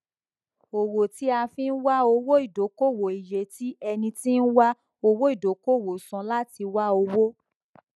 owó tí a fi nwá owó ìdókòwò iye tí ẹni tí ń wá owó ìdókòwò san láti wá owó